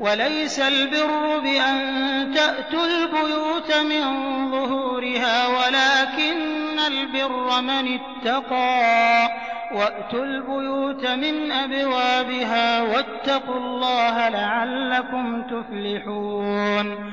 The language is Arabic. وَلَيْسَ الْبِرُّ بِأَن تَأْتُوا الْبُيُوتَ مِن ظُهُورِهَا وَلَٰكِنَّ الْبِرَّ مَنِ اتَّقَىٰ ۗ وَأْتُوا الْبُيُوتَ مِنْ أَبْوَابِهَا ۚ وَاتَّقُوا اللَّهَ لَعَلَّكُمْ تُفْلِحُونَ